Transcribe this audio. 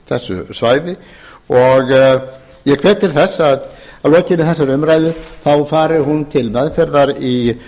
þessu svæði og ég hvet til þess að að lokinni þessari umræðu fari hún til meðferðar í